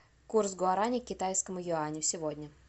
курс гуарани к китайскому юаню сегодня